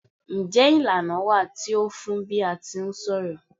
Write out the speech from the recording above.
Njé ìlànà wà tí o fun n bi a ti ń ṣọ̀rọ̀?